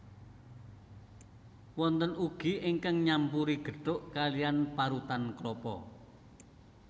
Wonten ugi ingkang nyampuri gethuk kaliyan parutan klapa